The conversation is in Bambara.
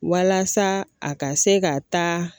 Walasa a ka se ka taa.